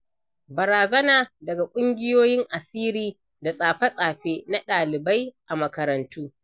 Barazana daga ƙungiyoyin asiri da tsafe-tsafe na ɗaliai a makarantu.